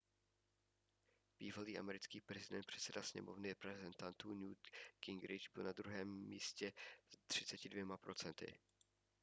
bývalý americký předseda sněmovny reprezentantů newt gingrich byl na druhém místě s 32 procenty